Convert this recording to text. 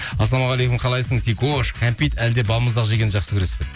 ассалаумағалейкум қалайсың сикош кәмпит әлде балмұздақ жегенді жақсы көресің бе дейді